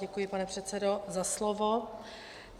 Děkuji, pane předsedo, za slovo.